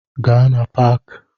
Gaa na Paaki!